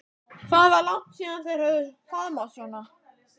Hvað var langt síðan þær höfðu faðmast svona?